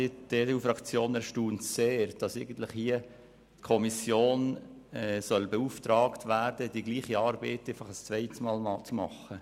Die EDU-Fraktion erstaunt es sehr, dass die Kommission beauftragt werden soll, die gleiche Arbeit ein zweites Mal zu verrichten.